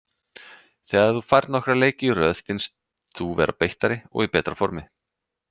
Þegar þú færð nokkra leiki í röð finnst þú vera beittari og í betra formi.